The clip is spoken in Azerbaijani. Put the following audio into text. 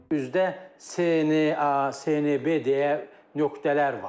Üzdə C, N, A, C, N, B deyə nöqtələr var.